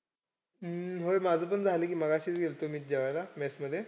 हम्म होय माझं पण झालं कि. मघाशीच गेलतो मी जेवायला mess मध्ये.